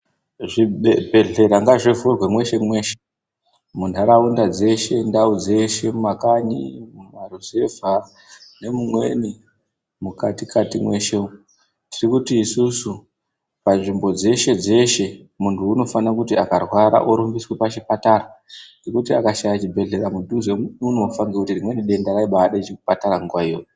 Zvibhedhleya ngazvivhurwe mweshe-mweshe munharaunda dzeshe, ndau dzeshe nemumakanyi, mumaruzevha nemumweni mukatikati mweshe umwu. Tiri kuti isusu panzvimbo dzeshe-dzeshe muntu unofanira kuti akarwera orumbiswa pachipatara. Ngekuti akashaya chibhedhlera mudhuzemwu unofa ngekuti rimweni denda raibade chipatara nguwa inyoyo.